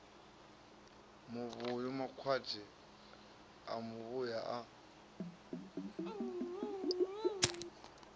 muvhuyu makwati a muvhuyu a